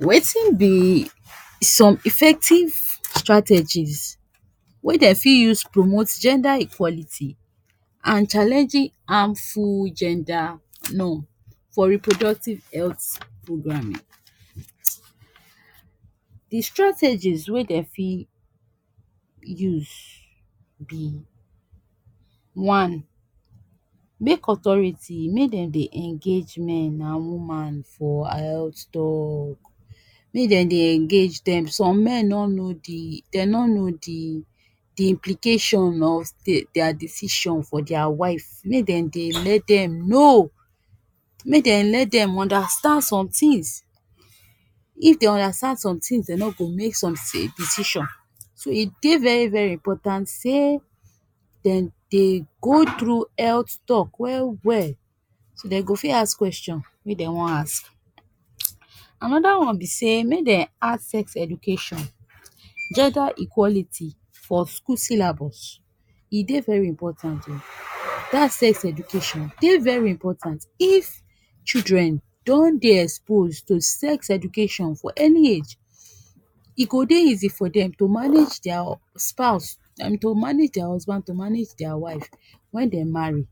Wetin be some effective strategies wey dey fit use promote gender equality, and challenging harmful gender norm for reproductive health programming? de strategies wey dey fit use be, one, make authority make dem dey engage men and woman for health talk, make dem dey engage dem. Some men no know de, dey no know de de implication of dia decision for dia wife. Make dem dey let dem know. Make dem let dem understand some things. If dey understand some things dey no go make some decision. So e dey very very important sey dem dey go through health talk well well, so dey go fit ask question wey dey wan ask. Another one be sey make dem add sex education, gender equality for school syllabus. E dey very important o. Dat sex education dey very important. If children don dey exposed to sex education for early age, e go dey easy for dem to manage dia spouse to manage dia husband to manage dia wife when dem marry.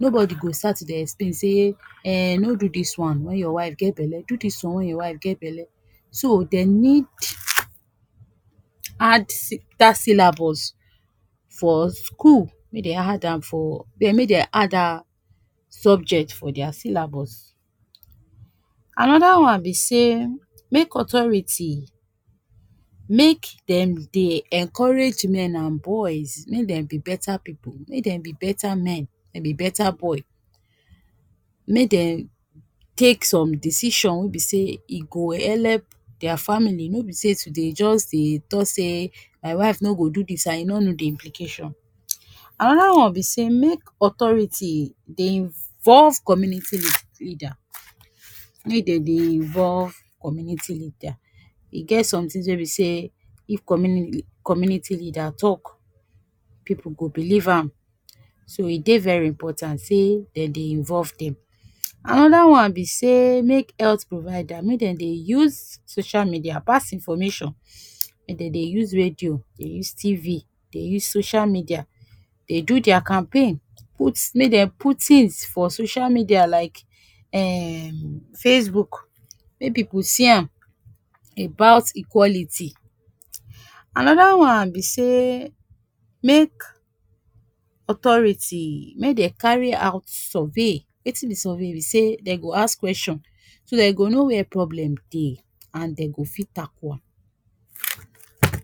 Nobody go start to dey explain sey um no do dis one when your wife get bele, do dis one when your wife get bele. So dey need add dat syllabus for school. Make dey add am for make dey add am subject for dia syllabus. Another one be sey make authority make dem dey encourage men and boys make dem be beta pipu. Make dem be beta men. Make dem be beta boy. Make dem take some decision wey be say e go help dia family, no be sey to dey just dey talk say my wife no go do this and e no know de implication. Another one be sey make authority dey involve community leader. Make dey dey involve community leader. E get some things wey be sey if communi community leader talk, pipu go believe am. So e dey very important sey dey dey involve dem. Another one be sey make health provider make dem dey use social media pass information. Make dem dey use radio, dey use TV, dey use social media dey do dia campaign put make dey put things for social media like um facebook, make pipu see am about equality. Another one be sey make authority make dey carry out survey. Wetin be survey be sey dey go ask kweshon, so dey go know where problem dey, and dey go fit tackle am.